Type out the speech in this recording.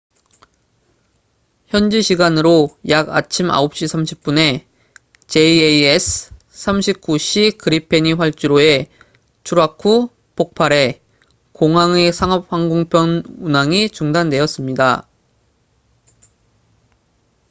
현지 시간으로 약 아침 9시 30분0230 utc에 jas 39c 그리펜이 활주로에 추락 후 폭발해 공항의 상업 항공편 운항이 중단되었습니다